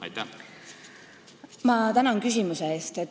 Ma tänan küsimuse eest!